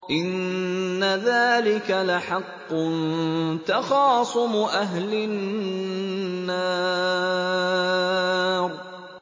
إِنَّ ذَٰلِكَ لَحَقٌّ تَخَاصُمُ أَهْلِ النَّارِ